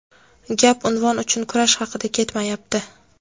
Gap unvon uchun kurash haqida ketmayapti.